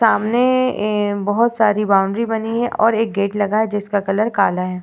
सामने बहोत सारी बाउंड्री बनी है और एक गेट लगा है जिसका कलर काला है।